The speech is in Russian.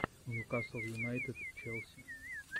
ньюкасл юнайтед челси